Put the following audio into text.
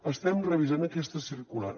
estem revisant aquesta circular